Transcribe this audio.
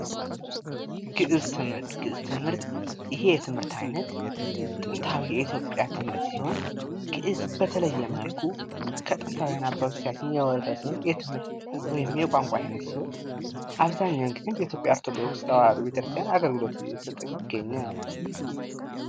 ግእዝ ትምህርት። ይሄ ትምህርት አይነት ጥንታዊ የኢትዮጵያ ትምህርት ሲሆንበተለየ መልኩ ከጥንታውያን አባቶቻችን የወረስነው የትምህርት ወይም የቋንቋ ዓይነት ሲሆን አብዛኛውን ጊዜ በኢትዮጵያ ኦርቶዶክስ ተዋህዶ ቤተክርስቲያን አገልግሎት እየሰጠ የሚገኝ ነው።